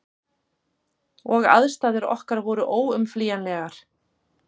Og aðstæður okkar voru óumflýjanlegar.